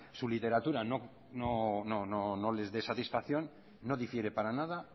su literatura no les de satisfacción no difiere para nada